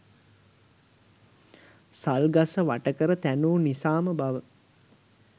සල් ගස වට කර තැනූ නිසාම බව